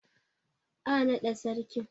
Ã nada sarkin!